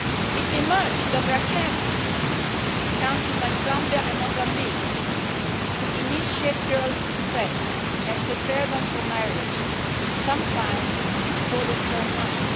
It emerged that there are camps in countries like Zambia and Mozambique to initiate girls in sex and prepare them for marriage, sometimes before they turn nine.